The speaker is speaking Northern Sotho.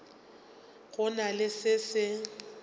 go na le se se